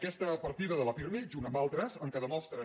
aquesta partida del pirmi junt amb altres en què demostren